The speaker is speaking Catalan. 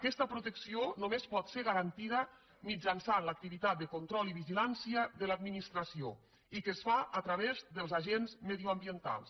aquesta protecció només pot ser garantida mitjançant l’activitat de control i vigilància de l’administració i que es fa a través dels agents mediambientals